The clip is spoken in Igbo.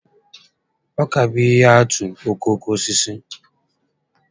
Ọka bụ ihe atụ okooko osisi